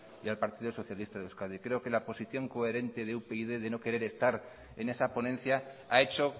y al partido socialista de euskadi creo que la posición coherente de upyd de no querer estar en esa ponencia ha hecho